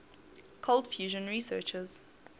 cold fusion researchers